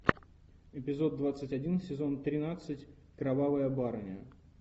эпизод двадцать один сезон тринадцать кровавая барыня